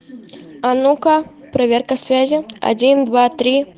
а ну-ка проверка связи один два три